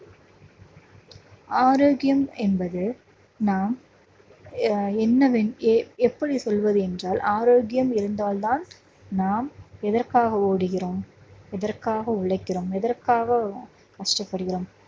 ஆரோக்கியம் என்பது நாம் ஆஹ் என்னவேண்~ எ~ எப்படி சொல்வது என்றால் ஆரோக்கியம் இருந்தால்தான் நாம் எதற்காக ஓடுகிறோம் எதற்காக உழைக்கிறோம் எதற்காக ஆஹ் கஷ்டப்படுகிறோம்